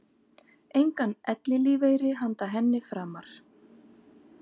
Engan ellilífeyri handa henni framar.